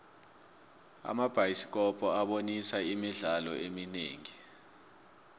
amabhayisikopo abonisa imidlalo eminingi